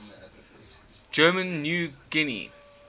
german new guinea